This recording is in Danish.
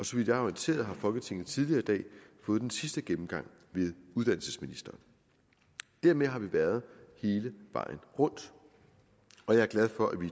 så vidt jeg er orienteret har folketinget tidligere i dag fået den sidste gennemgang ved uddannelsesministeren dermed har vi været hele vejen rundt og jeg er glad for at vi